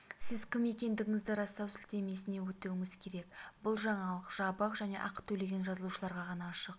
сіз кім екендігіңізді растау сілтемесіне өтуіңіз керек бұл жаңалық жабық және ақы төлеген жазылушыларға ғана ашық